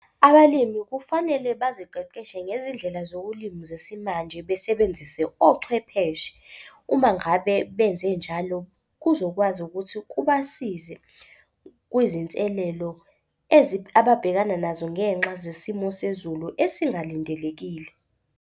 Abalimi kufanele baziqeqeshe ngezindlela zokulima zesimanje, besebenzise ochwepheshe. Uma ngabe benze njalo kuzokwazi ukuthi kubasize kwizinselelo ababhekana nazo ngenxa zesimo sezulu esingalindelekile.